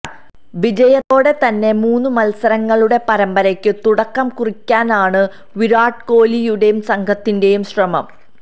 വിജയത്തോടെ തന്നെ മൂന്നു മല്സരങ്ങളുടെ പരമ്പരയ്ക്കു തുടക്കം കുറിക്കാനാണ് വിരാട് കോലിയുടെയും സംഘത്തിന്റെയും ശ്രമം